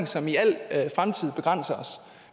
som i al fremtid begrænser os